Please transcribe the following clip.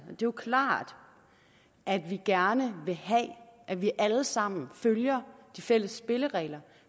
jo klart at vi gerne vil have at vi alle sammen følger de fælles spilleregler